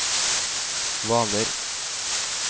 Hvaler